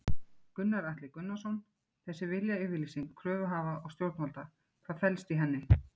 Gunnar Atli Gunnarsson: Þessi viljayfirlýsing kröfuhafa og stjórnvalda, hvað felst í henni?